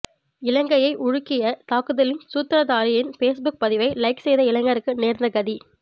இலங்கையை உலுக்கிய தாக்குதலின் சூத்திரதாரியின் பேஸ்புக் பதிவை லைக் செய்த இளைஞருக்கு நேர்ந்த கதி